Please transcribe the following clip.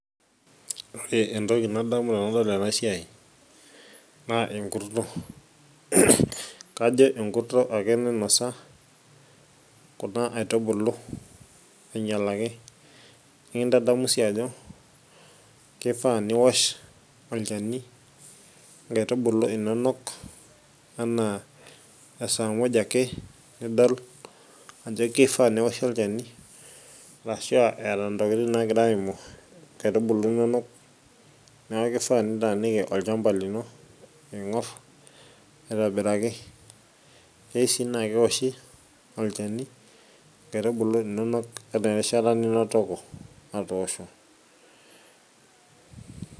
ore entoki nadamu tanadol enasiai naa enkurto kajo enkurto ake nainosa kuna aitubulu ainyialaki nikintadamu sii ajo kifaa niwosh olchani inkaitubulu inonok anaa esaa muj ake nidol ajo kifaa neoshi olchani arashua eeta ntokitin nagira aimu inkaitubulu inonok neeku kifaa nitaaniki olchamba lino aing'orr aitobiraki kei sii naa kewoshi olchani inkaitubulu inonok ata erishata ninotoko atoosho.